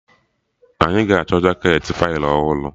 Anyị ga-achọ jaketị Faịlụ ọhụrụ